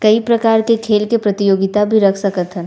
कई प्रकार के खेल के प्रतियोगिता भी रख सकत हन।